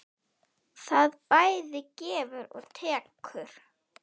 Það bæði gefur og tekur.